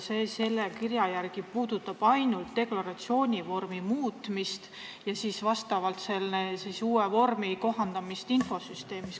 Seletuskirja järgi puudutab see ainult deklaratsioonivormide muutmist ja kohandusi infosüsteemis.